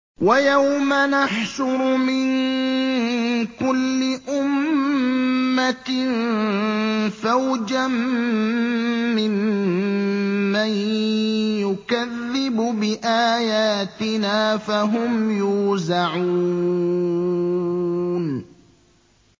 وَيَوْمَ نَحْشُرُ مِن كُلِّ أُمَّةٍ فَوْجًا مِّمَّن يُكَذِّبُ بِآيَاتِنَا فَهُمْ يُوزَعُونَ